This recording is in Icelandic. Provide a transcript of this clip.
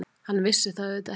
Hann vissi það auðvitað ekki.